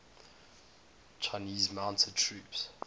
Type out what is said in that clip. chinese mounted troops